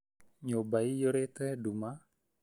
Nyũmba ĩyũrĩte nduma